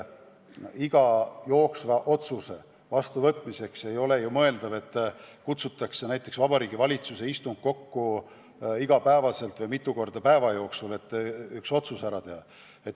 Iga jooksva otsuse vastuvõtmiseks ei ole ju mõeldav kutsuda Vabariigi Valitsust iga päev või mitu korda päeva jooksul kokku.